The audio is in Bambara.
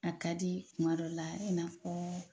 A ka di kuma dɔ la i n'a fɔɔ.